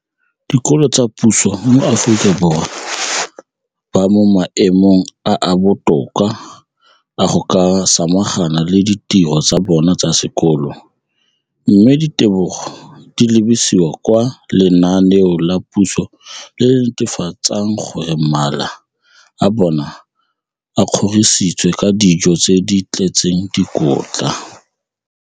Dikolo tsa puso mo Aforika Borwa ba mo maemong a a botoka a go ka samagana le ditiro tsa bona tsa sekolo, mme ditebogo di lebisiwa kwa lenaaneng la puso le le netefatsang gore mala a bona a kgorisitswe ka dijo tse di tletseng dikotla.